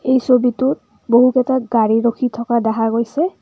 এই ছবিটোত বহুকেইটা গাড়ী ৰখি থকা দেখা গৈছে।